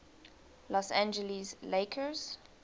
los angeles lakers